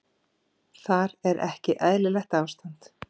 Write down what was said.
Þar er ekki eðlilegt ástand.